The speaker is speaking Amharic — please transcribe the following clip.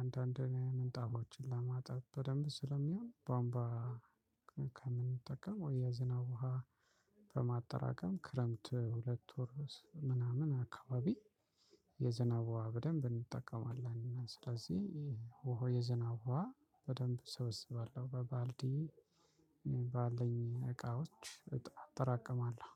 አንዳንዴም ምንጣፎችን ለማጠብ በደንብ ስለሚሆን ቧንቧ። ከምንጠቀም ወይ የዝናብ ውሃ በማጠራቀም ክረምት ሁለት ወር ምናምን አካባቢ። የዝናብ ውሃ በደንብ እንጠቀማለን። ስለዚህ የዘናብ ውሃ በደንብ ሰበሰባለሁ በባልዲ ባልኝ እቃዎች አጠራቅማለሁ